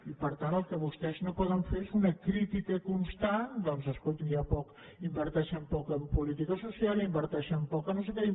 i per tant el que vostès no poden fer és una crítica constant doncs escolti inverteixen poc en política social inverteixen poc en no sé què